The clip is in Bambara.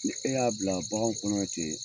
Ni e y'a bila baganw kɔnɔ bɛ ten.